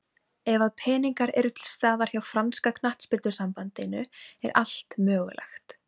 Ef að peningar eru til staðar hjá franska knattspyrnusambandinu er allt mögulegt.